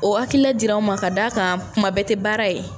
O hakilila dir'anw ma ka d'a kan kuma bɛɛ tɛ baara ye.